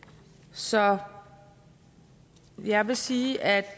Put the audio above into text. så jeg vil sige at